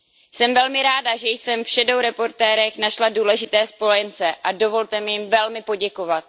Jsem velmi ráda, že jsem ve stínových zpravodajích našla důležité spojence a dovolte mi jim velmi poděkovat.